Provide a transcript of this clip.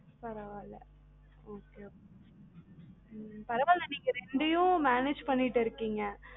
பரவாயில்ல okay okay ம்ம் பரவாயில்ல நீங்க ரெண்டையும் manage பண்ணிட்டு இருக்கீங்க